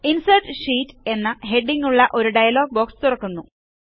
insert sheet എന്ന ഹെഡിംഗ്ങ്ങുള്ള ഒരു ഡയലോഗ് ബോക്സ് തുറക്കുന്നു